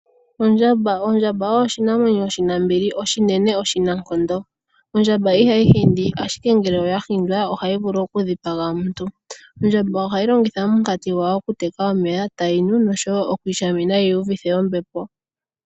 Ondjamba. Ondjamba oyo oshinamwenyo shi na ombili, oshinene noshinankondo. Ondjamba ihayi hindi ashike ngele oya hindwa ohayi vulu okudhipaga omuntu. Ondjamba ohayi longitha omunkati gwayo okuteka omeya tayi nu noshowoo okwiishamina yi iyuvithe ombepo.